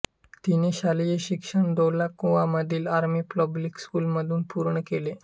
तिने शालेय शिक्षण धौला कुआंमधील आर्मी पब्लिक स्कूलमधून पूर्ण केले